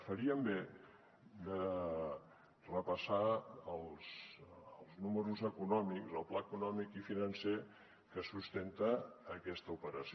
farien bé de repassar els números econòmics el pla econòmic i financer que sustenta aquesta operació